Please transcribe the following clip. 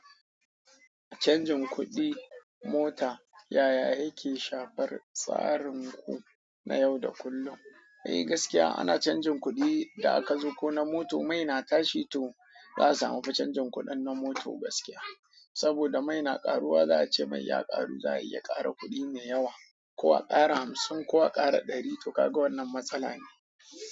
Canjin kuɗin mota. Yaya yake shafar tsarinku na yau da kullum? Eh gaskiya ana canjin kuɗi da aka zo ko na mota. Mai na tashi to ba za su hau ba canjin kuɗin na mota ba gaskiya. Saboda mai na karuwa za'a ce mai ya karu za'a iya karin kudin mai yawa ko a kara hamsin ko a kara dari toh kaga wannan matsala ce.